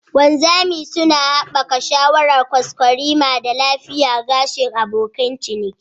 Wanzami suna haɓaka sha'awar kwaskwarima da lafiyar gashin abokin ciniki.